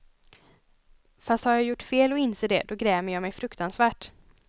Fast har jag gjort fel och inser det, då grämer jag mej fruktansvärt.